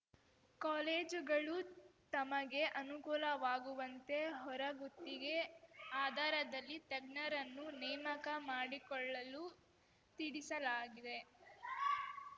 ಕಾಲೇಜುಗಳು ತಮಗೆ ಅನುಕೂಲವಾಗುವಂತೆ ಹೊರಗುತ್ತಿಗೆ ಆಧರದಲ್ಲಿ ತಜ್ಞರನ್ನು ನೇಮಕ ಮಾಡಿಕೊಳ್ಳಲು ತಿಳಿಸಲಾಗಿದೆ